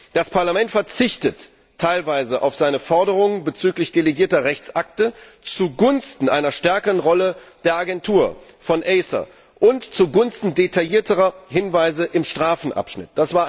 Das Parlament verzichtet teilweise auf seine Forderungen bezüglich delegierter Rechtsakte zugunsten einer stärkeren Rolle der Agentur, von ACER, und zugunsten detaillierterer Hinweise im Strafenabschnitt.